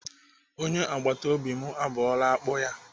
Onye agbatobi m abọọla akpụ ya.